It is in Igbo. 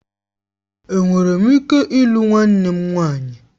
Enwere m ike ịlụ nwanne m nwanyị?